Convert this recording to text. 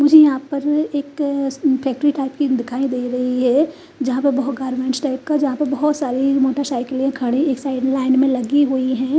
मुझे मुझे यहां पर एक फैक्ट्री टाइप की दिखाई दे रही है। जहां पर बहोत गारमेंट्स टाइपस का जहां पर बहोत सारी मोटरसाइकिल खड़ी एक साइड लाइन में लगी हुई है।